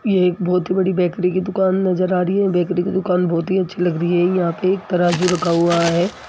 ये एक बहोत ही बड़ी बेकरी की दुकान नजर आ रही है और बेकरी की दुकान बहोत ही अच्छी लग रही है यहां पे एक तराजू रखा हुआ है।